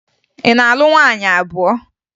Ị na-alụ nwaanyị abụọ?